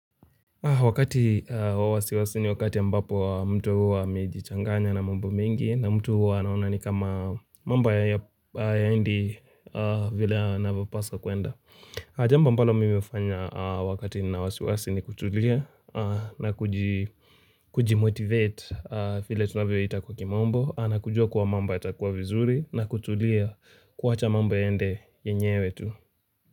Wakati wa wasi wasi ni wakati ambapo mtu huwa amejichanganya na mambo mengi na mtu huwa anaona ni kama mambo hayaendi. Vile yanavyo paswa kuenda. Jambo ambalo mimi nafanya wakati nina wasi wasiwasi ni kutulia na kujimotivate vile tunavyo ita kwa kimombo na kujua kuwa mambo yatakuwa vizuri na kutulia kuwacha mambo yaende yenyewe tu.